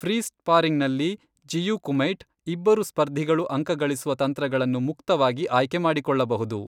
Free ಸ್ಪಾರಿಂಗ್ನಲ್ಲಿ ಜಿಯು ಕುಮೈಟ್, ಇಬ್ಬರು ಸ್ಪರ್ಧಿಗಳು ಅಂಕಗಳಿಸುವ ತಂತ್ರಗಳನ್ನು ಮುಕ್ತವಾಗಿ ಆಯ್ಕೆ ಮಾಡಿಕೊಳ್ಳಬಹುದು.